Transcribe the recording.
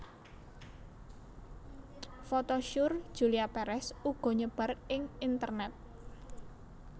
Foto syur Julia Perez uga nyebar ing internet